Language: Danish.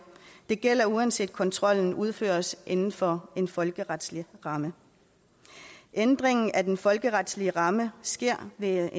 det gælder uanset kontrollen udføres inden for en folkeretlig ramme ændringen af den folkeretlige ramme sker ved